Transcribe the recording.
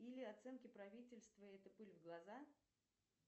или оценки правительства это пыль в глаза